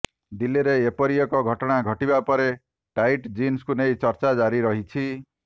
ଦିଲ୍ଲୀରେ ଏପରି ଏକ ଘଟଣା ଘଟିବା ପରେ ଟାଇଟ ଜିନ୍ସକୁ ନେଇ ଚର୍ଚ୍ଚା ଜାରି ରହିଛି